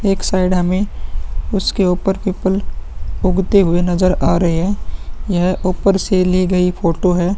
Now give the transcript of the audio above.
एक साइड हमें उसके ऊपर पीपल उगते हुए नज़र आ रहे हैं। यह ऊपर से ली गयी फोटो है।